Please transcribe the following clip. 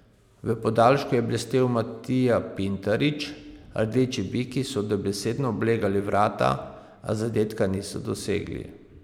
V podaljšku je blestel Matija Pintarič, rdeči biki so dobesedno oblegali vrata, a zadetka niso dosegli.